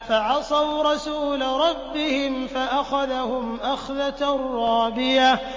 فَعَصَوْا رَسُولَ رَبِّهِمْ فَأَخَذَهُمْ أَخْذَةً رَّابِيَةً